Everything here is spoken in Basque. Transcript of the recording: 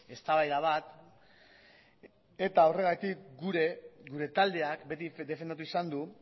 eztabaida bat eta horregatik gure taldeak beti defendatu izan du